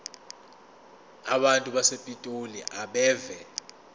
abantu basepitoli abeve